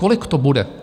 Kolik to bude?